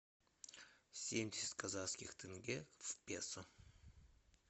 семьдесят казахских тенге в песо